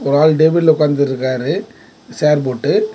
ஒரு ஆள் டேபிள்ள உக்காந்து இருக்காரு சேர் போட்டு.